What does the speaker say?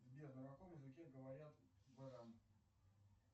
сбер на каком языке говорят в иране